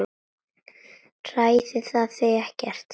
Hræðir það þig ekkert?